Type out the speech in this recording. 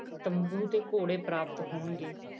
ਤੰਬੂ ਤੇ ਘੋੜੇ ਪ੍ਰਾਪਤ ਹੋਣਗੇ।